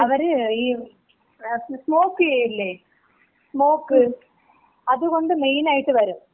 അവര് സ്‌മോക്ക് ഈ ചെയ്യൂലേ, സ്‌മോക്ക്? അത് കൊണ്ട് മെയിനായിട്ട് വരും.